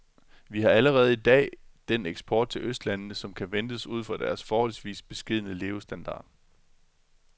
Vi har allerede i dag den eksport til østlandene, som kan ventes ud fra deres forholdsvis beskedne levestandard.